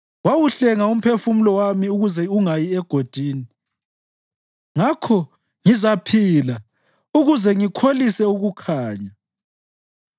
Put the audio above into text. Wawuhlenga umphefumulo wami ukuze ungayi egodini, ngakho ngizaphila ukuze ngikholise ukukhanya.’